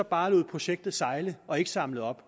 bare lod projektet sejle og ikke samlede op